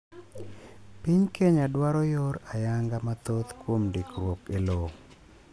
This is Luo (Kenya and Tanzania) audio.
Piny Kenya dwaro yor ayanga mathoth kuom ndikruok elowo.